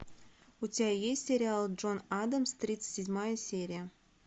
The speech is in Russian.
у тебя есть сериал джон адамс тридцать седьмая серия